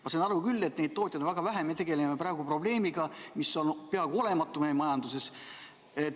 Ma saan aru küll, et neid tootjaid on väga vähe, et me tegeleme praegu probleemiga, mis on peaaegu olematu meie majanduses.